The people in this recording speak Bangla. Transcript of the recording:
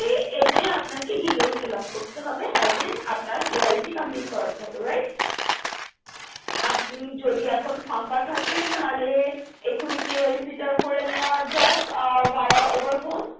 এতে আপনাকে details fill up করতে হবে then আপনার KYC complete করাতে হবে right আপনি যদি এখনি ফাঁকা থাকেন তাহলে এখনি KYC টা করে নেওয়া যাক via over phone